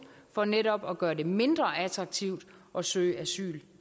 for netop at gøre det mindre attraktivt at søge asyl